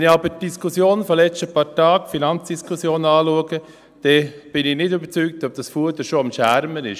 Wenn ich mir aber die Diskussion der letzten paar Tage anschaue, die Finanzdiskussion, dann bin ich nicht überzeugt, ob dieses Fuder schon im Trockenen ist.